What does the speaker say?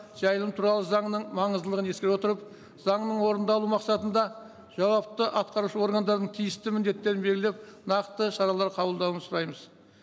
жайылым туралы заңның маңыздылығын ескере отырып заңның орындалу мақсатында жауапты атқарушы органдардың тиісті міндеттерін белгілеп нақты шаралар қабылдауын сұраймыз